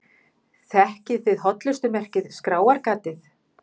Þekkið þið hollustumerkið Skráargatið?